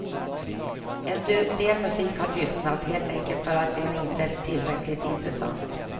En del musik har tystnat, helt enkelt för att den inte är tillräckligt intressant.